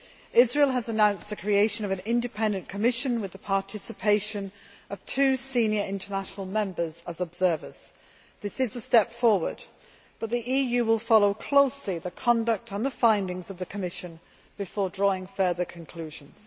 Israel has announced the creation of an independent commission with the participation of two senior international members as observers. This is a step forward. But the EU will follow closely the conduct and the findings of the Commission before drawing further conclusions.